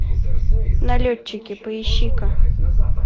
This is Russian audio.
налетчики поищи ка